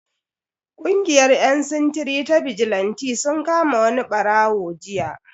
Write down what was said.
Kungiyar yan sintiri ta bijilanti sun kama wani barawo jiya.